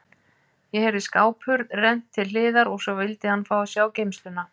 Ég heyrði skáphurð rennt til hliðar og svo vildi hann fá að sjá geymsluna.